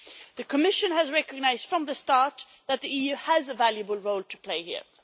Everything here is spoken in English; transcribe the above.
The Commission has recognised from the start that the EU has a valuable role to play here.